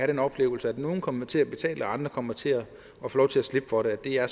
den oplevelse at nogle kommer til at betale og andre kommer til at få lov til at slippe for det det er